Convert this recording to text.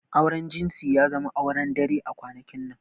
Auren jinsi ya zama ruwan dare a kwanakin nan.